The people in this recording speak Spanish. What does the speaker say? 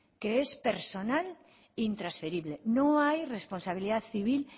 que es personal e intransferible no hay responsabilidad civil